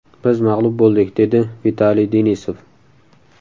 Biz mag‘lub bo‘ldik”, dedi Vitaliy Denisov.